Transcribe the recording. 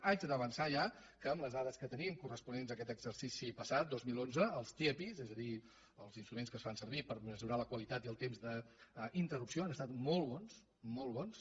haig d’avançar ja que amb les dades que tenim corresponents a aquest exercici passat dos mil onze els tiepi és a dir els instruments que es fan servir per mesurar la qualitat i el temps d’interrupció han estat molt bons molt bons